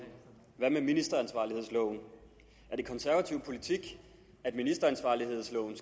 hvad med ministeransvarlighedsloven er det konservativ politik at ministeransvarlighedsloven